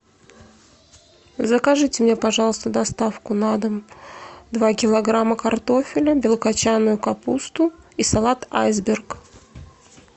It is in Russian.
закажите мне пожалуйста доставку на дом два килограмма картофеля белокочанную капусту и салат айсберг